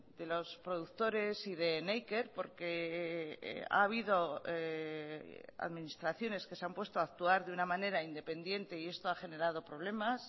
de los productores y de neiker porque ha habido administraciones que se han puesto a actuar de una manera independiente y esto ha generado problemas